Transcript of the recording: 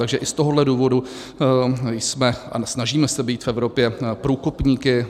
Takže i z tohohle důvodu jsme - a snažíme se být v Evropě průkopníky.